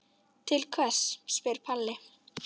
Til hvers spyr Palli.